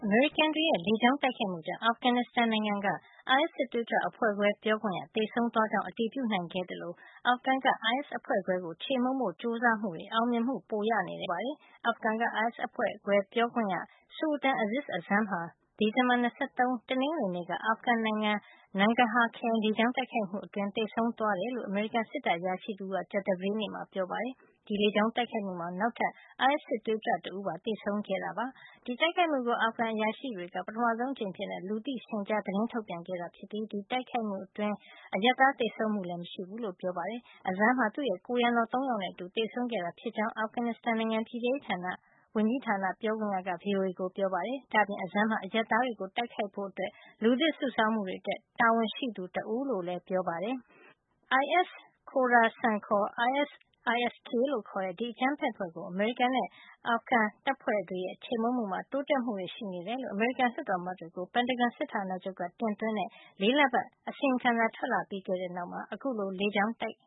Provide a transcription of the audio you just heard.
မေရိကန်တွေရဲ့ လေကြောင်းတိုက်ခိုက်မှုကြောင့် အာဖဂန်နစ်စတန်နိုင်ငံက အိုင်အက်စ် စစ်သွေးကြွအဖွဲ့ခွဲ ပြောခွင့်ရ သေဆုံးသွားကြောင်း အတည်ပြုနိုင်ခဲ့သလို အာဖဂန်ကအိုင်အက်စ် အဖွဲ့ခွဲကို ခြေမှုန်းဖို့ ကြိုးစားမှုတွေမှာ အောင်မြင်မှုတွေ ပိုရနေတယ်လို့ အမေရိကန်က ပြောပါတယ်။ အာဖဂန်ကအိုင်အက်စ် အဖွဲ့ခွဲပြောခွင့်ရ Sultan Aziz Azam ဟာ ဒီဇင်ဘာလ ၂၃ ရက် တနင်္ဂနွေနေ့က အာဖဂန်နိုင်ငံ Nangarhar ခရိုင် လေကြောင်းတိုက်ခိုက်မှုမှာ သေဆုံးခဲ့ကြောင်း အမေရိကန်စစ်တပ်အရာရှိတဦးက ကြာသပတေးနေ့မှာ ပြောပါတယ်။ ဒီလေကြောင်း တိုက်ခိုက်မှုမှာ နောက်ထပ် အိုင်အက်စ် စစ်သွေးကြွ တဦးပါ သေဆုံးခဲ့တာ ဖြစ်ပါတယ်။ ဒီတိုက်ခိုက်မှုကို အာဖဂန်အရာရှိတွေက ပထမဆုံးအကြိမ်အဖြစ် လူသိရှင်ကြား သတင်းထုတ်ပြန်ခဲ့တာ ဖြစ်ပြီး ဒီတိုက်ခိုက်မှု ကြောင့် အရပ်သား သေဆုံးမှုမရှိဘူးလို့လည်း ပြောပါတယ်။ Azam ဟာ သူ့ရဲ့ ကိုယ်ရံတော် ၃ ယောက်နဲ့အတူ သေဆုံးခဲ့တာ ဖြစ်ကြောင်း အာဖဂန်နစ်စတန်နိုင်ငံ ပြည်ထဲရေးဝန်ကြီးဌာန ပြောခွင့်ရက VOA ကို ပြောပါတယ်။ ဒါ့အပြင် Azam ဟာ အရပ်သားတွေကို တိုက်ခိုက်ဖို့ လူသစ်စုဆောင်းမှု အတွက် တာဝန်ရှိသူတဦးလို့လည်း ပြောပါတယ်။ IS-Khorasan ခေါ် ISIS-K လို့ခေါ်တဲ့ ဒီအကြမ်းဖက်အဖွဲ့ကို အမေရိကန်နဲ့ အာဖဂန်တပ်ဖွဲ့ တွေရဲ့ ခြေမှုန်းမှုမှာ တိုးတက်မှုတွေ ရှိနေကြောင်း အမေရိကန် လွှတ်တော်အမတ်တွေကို ပင်တာဂွန်စစ်ဌာနချုပ်က တင်သွင်းတဲ့ ၄ လပတ် အစီရင်ခံစာ ထွက်လာခဲ့ပြီးတဲ့ နောက်မှာ အခုလို လေကြောင်း တိုက်